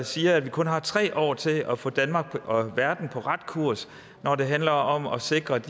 siger at vi kun har tre år til at få danmark og verden på ret kurs når det handler om at sikre at